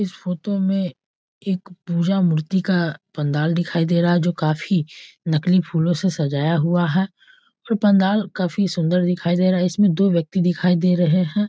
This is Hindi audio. इस फोटो में एक पूजा मूर्ति का पंडाल दिखाई दे रहा है जो काफी नकली फूलों से सजाया हुआ है पंडाल काफी सुंदर दिखाई दे रहा है इसमें दो व्यक्ति दिखाई दे रहे हैं।